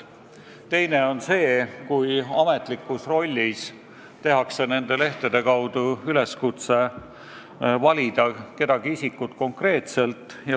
Teine on see, kui ametlikus rollis tehakse nende lehtede kaudu üleskutse valida kedagi isikut konkreetselt.